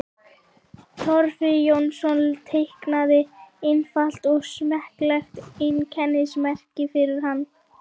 Torfi Jónsson teiknaði einfalt og smekklegt einkennismerki fyrir hann.